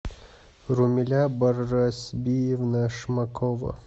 румиля барасбиевна шмакова